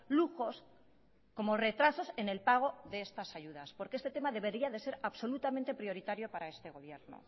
lujos como retrasos en el pago de estas ayudas porque este tema debería de ser absolutamente prioritario para este gobierno